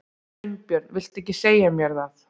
Sveinbjörn vildi ekki segja mér það.